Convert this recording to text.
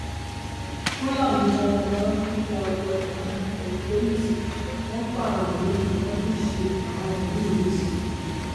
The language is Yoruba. fúlàní darandaran tún ya wọ ìlú òkèlùṣe wọn pààyàn méjì wọn tún ṣe àwọn míín lẹsẹ